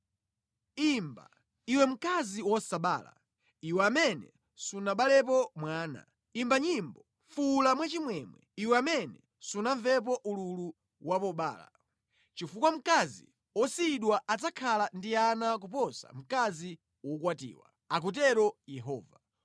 “Sangalala, iwe mayi wosabala, iwe amene sunabalepo mwana; imba nyimbo, ndi kufuwula mwachimwemwe, iwe amene sunamvepo ululu wa pobereka; chifukwa mkazi wosiyidwa adzakhala ndi ana ambiri kuposa mkazi wokwatiwa,” akutero Yehova.